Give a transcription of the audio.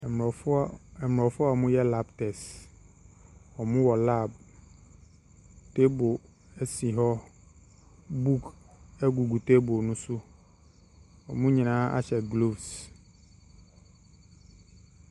Mmorɔfo…mmorɔfo a wɔyɛ lab test. Wɔwɔ lab. Table si hɔ. Book gugu table no so. Wɔn nyinaa ahyɛ gloves.